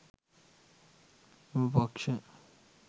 එම පක්‍ෂ